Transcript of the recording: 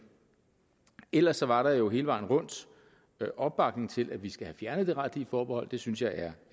ellers var der jo hele vejen rundt opbakning til at vi skal have fjernet det retlige forbehold det synes jeg er